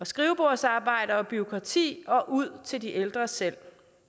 skrivebordsarbejde og bureaukrati og ud til de ældre selv